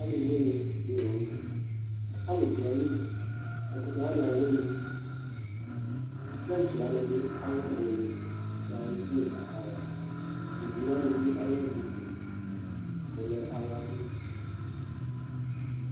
Aliwini di la n'tɛ Alʋ dʋ ayili, ɛkʋtɛwsni awini, kintsi wani bi ale ɔwini k'ayedze katã Ugli wani bi ale ɛyɛdi gali k'ɔlɛ ala gli